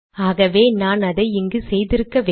ஆகவே நான் அதை இங்கு செய்திருக்க வேண்டும்